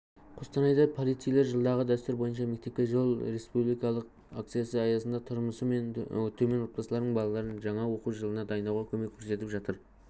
қостанайда полицейлер жылдағы дәстүр бойынша мектепке жол республикалық акциясы аясында тұрмысы төмен отбасылардың балаларын жаңа оқу жылына дайындауға көмек көрсетіп жатыр